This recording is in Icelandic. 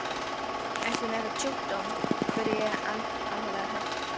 Ertu með einhvern sjúkdóm? spurði ég alvarlega hrædd.